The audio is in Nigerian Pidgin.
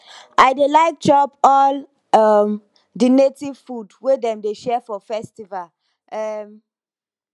i dey like chop all um di native food wey dem dey share for festival um